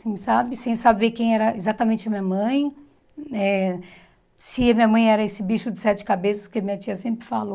Assim sabe, sem saber quem era exatamente a minha mãe, eh se a minha mãe era esse bicho de sete cabeças que minha tia sempre falou.